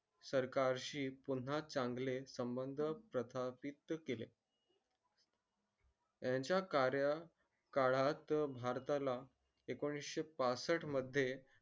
सरकार शी पुन्हा चांगले संबंध प्रस्थापित केले. त्यांच्या कार्य काळात भारता ला एकोणीस पासष्ट मध्ये